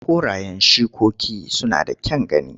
Korayen shikoki suna da kyan gani.